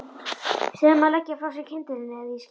Segðu honum að leggja frá sér kyndilinn eða ég skýt.